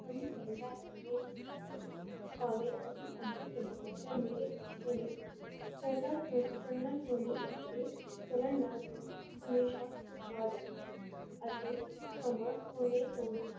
ਸਾਨੂ ਕਹੇਂਦਾ ਹੈ ਮੇਰੇ ਨਾਲ ਚਲੋ, ਭਾਵੇ ਅਸੀ ਅੱਗੇ ਚੱਲੀਏ ਪਰ ਮੇਰੇ ਪਿੱਛੇ ਨਹੀਂ ਚੱਲਦਾ ਕਿਉਂ ਨੀ ਚੱਲਣਾ ਕਿਓਂ ਨੀ ਇਕੱਠੇ ਚੱਲਣ ਨਾਲ ਤੋਂ ਹਮੇਸ਼ਾ ਖੁਸ਼ਹਾਲ ਰੇਹ ਅਤੇ ਸਮਾਂ ਹੋਣੇ ਤੋਂ ਵੀ